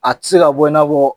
A tɛ se ka bɔ i n'a fɔ